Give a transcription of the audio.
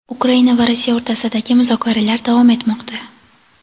Ukraina va Rossiya o‘rtasidagi muzokaralar davom etmoqda.